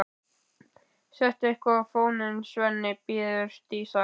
Settu eitthvað á fóninn, Svenni, biður Dísa.